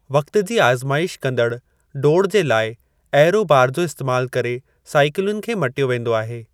वक़्त जी आज़माईश कंदड़ु डोड़ जे लाइ एयरो बार जो इस्तेमालु करे साईकिलुनि खे मटियो वेंदो आहे।